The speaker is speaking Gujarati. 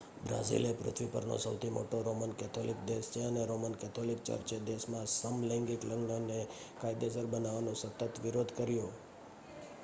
બ્રાઝિલ એ પૃથ્વી પરનો સૌથી મોટો રોમન કેથોલિક દેશ છે અને રોમન કેથોલિક ચર્ચે દેશમાં સમલૈંગિક લગ્નને કાયદેસર બનાવવાનો સતત વિરોધ કર્યો